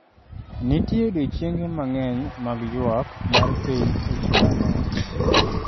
Nitie odiechienge mang’eny mag ywak mar piny e chulano.